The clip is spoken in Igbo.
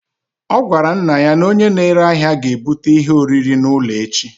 Ọ gwara nna ya na onye na-ere ahịa ga-ebute ihe oriri n'ụlọ ha echi